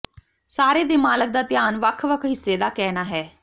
ਸਾਰੇ ਦੇ ਮਾਲਕ ਦਾ ਧਿਆਨ ਵੱਖ ਵੱਖ ਹਿੱਸੇ ਦਾ ਕਹਿਣਾ ਹੈ